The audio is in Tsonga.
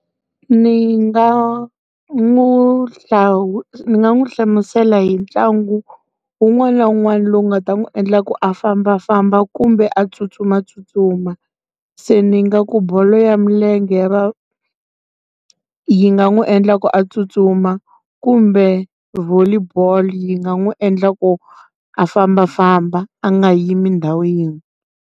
Ni nga n'wi ni nga n'wi hlamusela hi ntlangu wun'wana na wun'wana lowu nga ta n'wi endla a famba famba kumbe a tsutsuma tsutsuma se ni nga ku bolo ya milenge ya va yi nga n'wi endla ku a tsutsuma kumbe volley bolo yi nga n'wi endla ku a famba famba a nga yimi ndhawu yin'we.